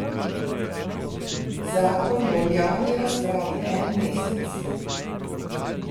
Zakon bo v javni razpravi en mesec.